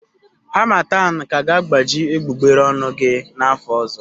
Harmattan ka ga-agbaji egbugbere ọnụ gị n'afọ ọzọ.